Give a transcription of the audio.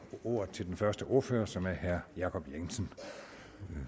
ordet til den første ordfører som er herre jacob jensen